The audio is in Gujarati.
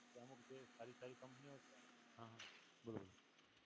અમુક જે ખાલી ખાલી કોમ્પનીયો છે, હા બોલો બોલો